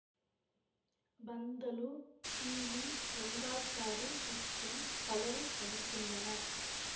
Panthulu P V Rangachari மற்றும் பலரும் நடித்துள்ளனர்